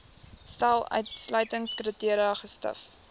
stel uitsluitingskriteria gesif